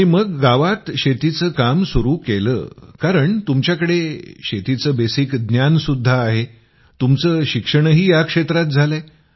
आणि मग गावात शेतीचं काम सुरू केलं कारण तुमच्याकडे शेतीचं बेसिक ज्ञानसुद्धा आहे तुमचं शिक्षणही या क्षेत्रात झालंय